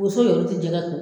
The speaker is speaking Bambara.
yɛrɛw ti jɛgɛ ko.